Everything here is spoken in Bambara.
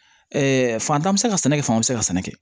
fantan bɛ se ka sɛnɛ kɛ fan bɛɛ bɛ se ka sɛnɛ kɛ